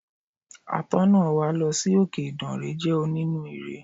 Atọ́nà wa lọ sí òkè Ìdànrè jẹ́ onínú ire.